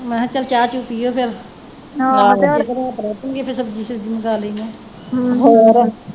ਮੈ ਕਿਹਾ ਚਲ ਚਾਹ ਚੁਹ ਪੀਓ ਫਿਰ ਰਾਤ ਰਹਿ ਪੈਣਗੇ ਤੇ ਫਿਰ ਸਬਜ਼ੀ ਸੁਬਜੀ ਮੰਗਾ ਲੈਣੇ